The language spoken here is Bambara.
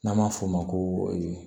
N'an b'a f'o ma ko